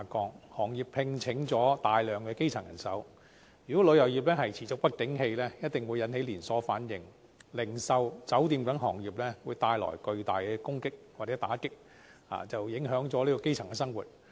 由於行業聘請大量基層人手，如果旅遊業持續不景氣，一定會引起連鎖反應，對零售及酒店等行業造成巨大打擊，影響基層生活。